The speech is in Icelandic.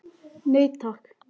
Nei takk.